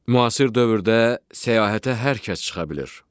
Müasir dövrdə səyahətə hər kəs çıxa bilir.